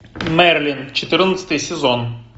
мерлин четырнадцатый сезон